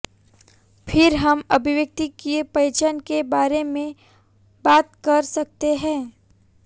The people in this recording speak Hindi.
फिर हम अभिव्यक्ति की पहचान के बारे में बात कर सकते हैं